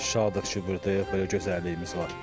Şadıq ki, buradayıq, belə gözəlliyimiz var.